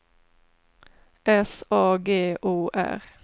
S A G O R